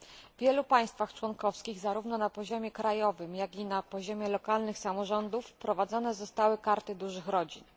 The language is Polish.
W wielu państwach członkowskich zarówno na poziomie krajowym, jak i na poziomie lokalnych samorządów wprowadzone zostały Karty Dużych Rodzin.